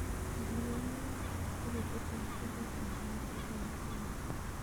Olly alwon tiketit ap karit ap maat akoi atlanta